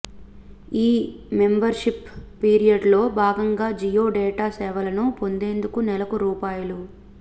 ఈ మెంబర్షిప్ పిరియడ్లో భాగంగా జియో డేటా సేవలను పొందేందుకు నెలకు రూ